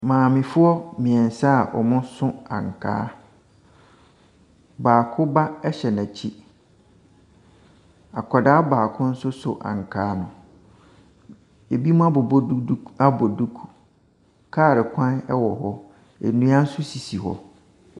Maamefoɔ mmiɛnsa a wɔso ankaa. Baako ba hyɛ n’akyi. Akwadaa baako nso so ankaa no. Ɛbinom abobɔ duduk abɔ duku. Kaa kwan ɛwɔ hɔ, nnua nso sisi hɔ.